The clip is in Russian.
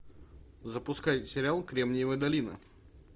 запускай сериал кремниевая долина